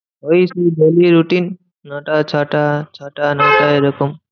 ওই তো daily routine ন টা ছ টা। ছ টা ন টা এরকম।